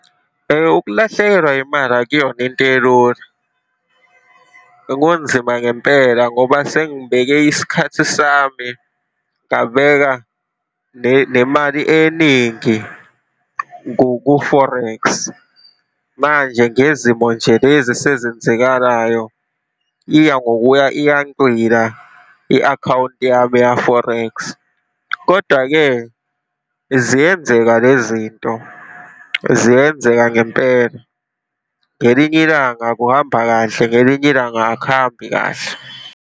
Ukulahlekelwa imali akuyona into elula. Kunzima ngempela ngoba sengibeke isikhathi sami, ngabeka nemali eningi ku-forex. Manje ngezimo nje lezi esezenzekalayo, iya ngokuya iya ncwila i-akhawunti yami ya-forex. Kodwa-ke, ziyenzeka lezinto, ziyenzeka ngempela. Ngelinye ilanga kuhamba kahle, ngelinye ilanga akuhambi kahle.